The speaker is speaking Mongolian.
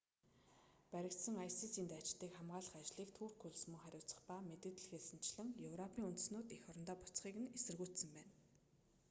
баригдсан isis-н дайчдыг хамгаалах ажлыг турк улс мөн хариуцах ба мэдэгдэлд хэлсэнчлэн европын үндэстнүүд эх орондоо буцахыг нь эсэргүүцсэн байна